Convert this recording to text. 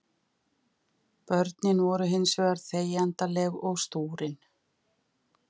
Börnin voru hins vegar þegjandaleg og stúrin.